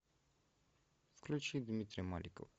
включи дмитрия маликова